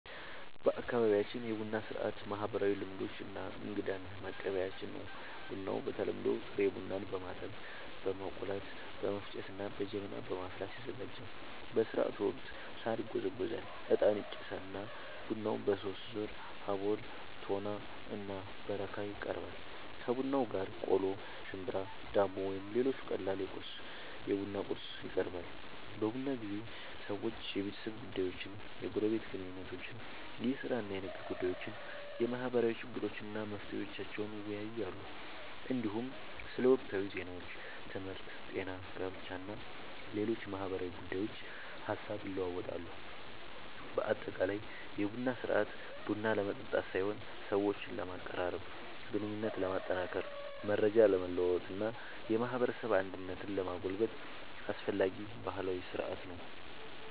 በአካባቢያችን የቡና ሥርዓት ማህበራዊ ልምዶች እና እንግዳን መቀበያችን ነው። ቡናው በተለምዶ ጥሬ ቡናን በማጠብ፣ በመቆላት፣ በመፍጨት እና በጀበና በማፍላት ይዘጋጃል። በሥርዓቱ ወቅት ሣር ይጎዘጎዛል፣ ዕጣን ይጨሳል እና ቡናው በሦስት ዙር (አቦል፣ ቶና እና በረካ) ይቀርባል። ከቡናው ጋር ቆሎ፣ ሽምብራ፣ ዳቦ ወይም ሌሎች ቀላል የቡና ቁርስ ይቀርባል። በቡና ጊዜ ሰዎች የቤተሰብ ጉዳዮችን፣ የጎረቤት ግንኙነቶችን፣ የሥራ እና የንግድ ጉዳዮችን፣ የማህበረሰብ ችግሮችን እና መፍትሄዎቻቸውን ይወያያሉ። እንዲሁም ስለ ወቅታዊ ዜናዎች፣ ትምህርት፣ ጤና፣ ጋብቻ እና ሌሎች ማህበራዊ ጉዳዮች ሐሳብ ይለዋወጣሉ። በአጠቃላይ የቡና ሥርዓት ቡና ለመጠጣት ሳይሆን ሰዎችን ለማቀራረብ፣ ግንኙነትን ለማጠናከር፣ መረጃ ለመለዋወጥ እና የማህበረሰብ አንድነትን ለማጎልበት አስፈላጊ ባህላዊ ሥርዓት ነው።